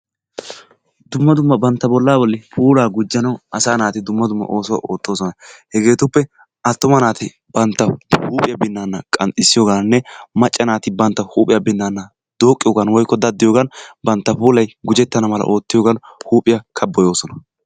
Dumma dumma bantta bollaa bolli puulaa gujjanaassi asaa naati dumma dumma oosuwa oottoosona. Hegeetuppe attuma naati bantta huuphiya binnaana qanxxissiyogaanne macca naati bantta huuphiya binnaana dooqqiyogan woykko daddiyogan bantta puulayi gujettana mala oottiyogan huuphiya kabboyoosona.